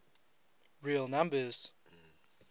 real numbers